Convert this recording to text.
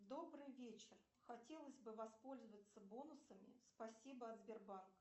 добрый вечер хотелось бы воспользоваться бонусами спасибо от сбербанка